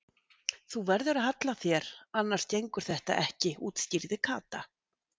Þú verður að halla þér annars gengur þetta ekki útskýrði Kata.